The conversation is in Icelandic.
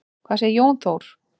Hvað segir Jón Þór?